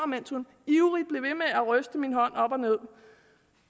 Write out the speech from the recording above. mens hun ivrigt blev ved med at ryste min hånd op og ned